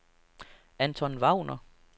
Anton Wagner